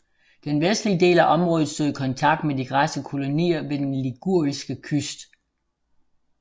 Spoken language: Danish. Den vestlige del af området stod i kontakt med de græske kolonier ved den liguriske kyst